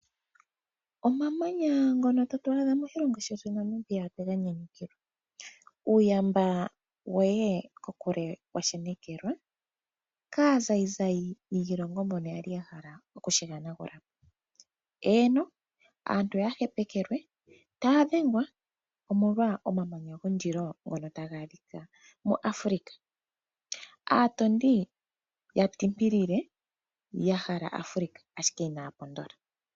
Omamanya ngono tatu adha moshilongo shetu Namibia otwe ga nyanyukilwa. Uuyamba woye kokule wa shenekelwa, kaazayizayi mbono ya li ya hala okushi hanagula po. Eeno, aantu oya hepekelwe, taya dhengwa, omolwa omamanya gondilo ngono taga adhika moAfrika. Aatondi ya tindilile ya hala Afrika, ashike inaya pondola sha.